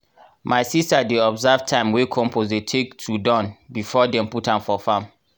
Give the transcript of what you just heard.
my sister dey observe time wey compost dey take to done before dem put am for farm.